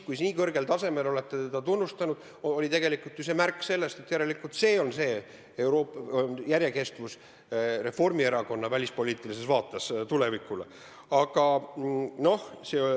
Kui te nii kõrgel tasemel teda tunnustasite, siis oli see tegelikult ju märk sellest, et selline on järjekestev Reformierakonna välispoliitiline tulevikuvaade.